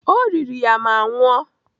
O riri ya ma nwụọ.